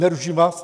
Neruším vás?